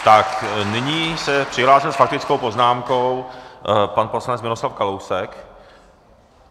Tak nyní se přihlásil s faktickou poznámkou pan poslanec Miroslav Kalousek.